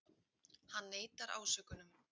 Hann neitar ásökunum